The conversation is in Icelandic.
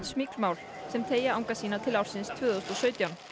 smygl mál sem teygja anga sína til ársins tvö þúsund og sautján